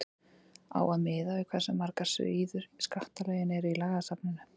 á að miða við hversu margar síður skattalögin eru í lagasafninu